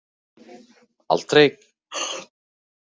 Af hverju gat ég aldrei verið örugg með mig.